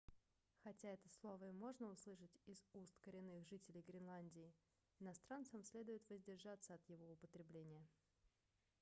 хотя это слово и можно услышать из уст коренных жителей гренландии иностранцам следует воздержаться от его употребления